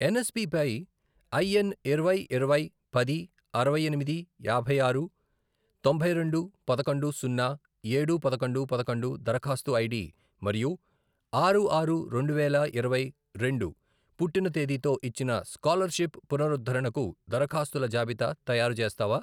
ఎన్ఎస్పిపై ఐఎన్ ఇరవై, ఇరవై, పది, అరవై ఎనిమిది, యాభై ఆరు, తొంభై రెండు, పదకొండు, సున్నా, ఏడు, పదకొండు, పదకొండు, దరఖాస్తు ఐడి మరియు ఆరు ఆరు రెండువేల ఇరవై రెండు పుట్టిన తేదీతో ఇచ్చిన స్కాలర్షిప్ పునరుద్ధరణకు దరఖాస్తుల జాబితా తయారుచేస్తావా?